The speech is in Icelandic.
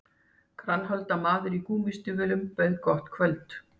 Grannholda maður á gúmmístígvélum bauð gott kvöld